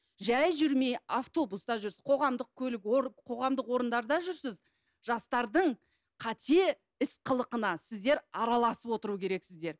жай жүрмей автобуста жүрсіз қоғамдық көлік қоғамдық орындарда жүрсіз жастардың қате іс қылығына сіздер араласып отыру керексіздер